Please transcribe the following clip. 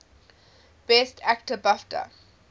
best actor bafta